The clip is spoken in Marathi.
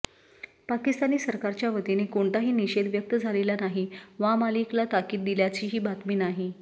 पाकिस्तानी सरकारच्या वतीने कोणताही निषेध व्यक्त झालेला नाही वा मलिकला ताकीद दिल्याचीही बातमी नाही